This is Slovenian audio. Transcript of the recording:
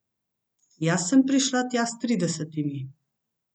Jaz sem prišla tja s tridesetimi.